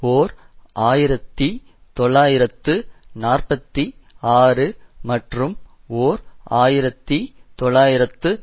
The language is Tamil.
ஓர் ஆயிரத்தி தொள்ளாயிரத்து நாற்பத்தி ஆறு மற்றும் ஓர் ஆயிரத்தி தொள்ளாயிரத்து